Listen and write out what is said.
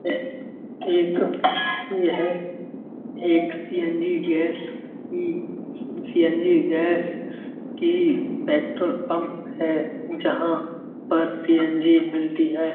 यह एक CNG. Gas की सी.एन.जी. गैस की पेट्रोल पंप है जहाँ पर सी.एन.जी. मिलती है।